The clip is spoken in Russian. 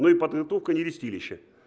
ну и подготовка нерестилища